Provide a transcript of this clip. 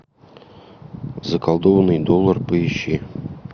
заколдованный доллар поищи